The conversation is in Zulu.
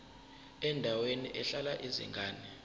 endaweni ehlala izingane